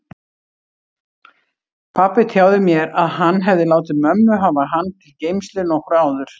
Pabbi tjáði mér að hann hefði látið mömmu hafa hann til geymslu nokkru áður.